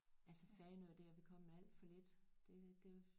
Altså Fanø der er vi kommet alt for lidt det det